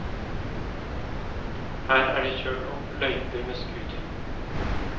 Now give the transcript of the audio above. Her er det kjørt opp løyper med scooter.